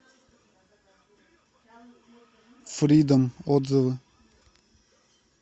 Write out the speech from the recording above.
фридом отзывы